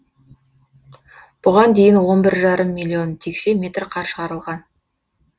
бұған дейін он бір жарым миллион текше метр қар шығарылған